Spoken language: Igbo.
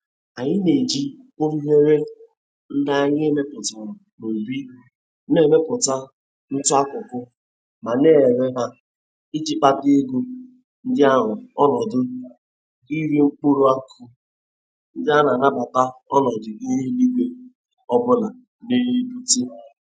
Anyi na-eji ureghure ndị anyị mepụtara n'ubi na-emepụta ntụ akụkụ ma na-ere ha iji kpata ego ndị ahụ onọdụ ire mkpụrụ akụụ ndị a na-anabata ọnọdụ ihu eluigwe ọbụla na-ebute.